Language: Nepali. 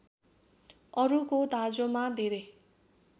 अरूको दाँजोमा धेरै